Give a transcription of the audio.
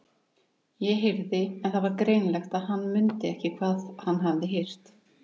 ég heyrði. En það var greinilegt að hann mundi ekki hvað hann hafði heyrt.